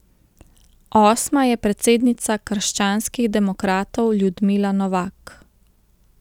Osma je predsednica krščanskih demokratov Ljudmila Novak.